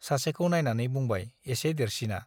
सासेखौ नाइनानै बुंबाय एसे देरसिना ।